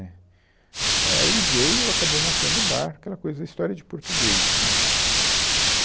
Né, Aí ele veio, acabou montando o bar, aquela coisa, história de português, né